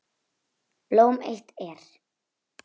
Blóm eitt er.